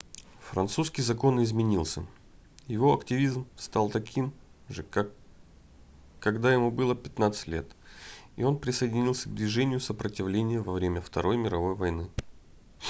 французский закон изменился его активизм стал таким же как когда ему было 15 лет и он присоединился к движению сопротивления во время второй мировой войны